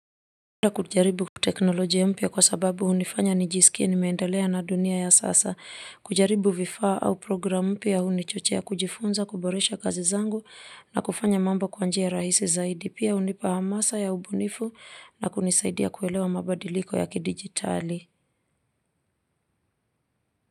Na kujaribu teknolojia mpya kwa sababu hunifanya nijisikie nime endelea na dunia ya sasa, kujaribu vifaa au programu mpya hunichochea, kujifunza, kuboresha kazi zangu na kufanya mambo kwa njia rahisi zaidi, pia unipa hamasa ya ubunifu na kunisaidia kuelewa mabadiliko ya kidigitali.